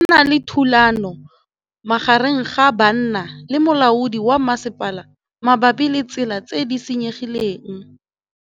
Go na le thulanô magareng ga banna le molaodi wa masepala mabapi le ditsela tse di senyegileng.